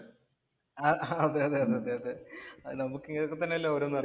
ആഹ് അതെ അതെ, അതേ നമുക്ക് ഇങ്ങനെയൊക്കെ തന്നെ അല്ലേ ഓരോന്ന് അറിയാന്‍